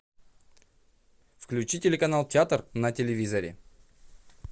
включи телеканал театр на телевизоре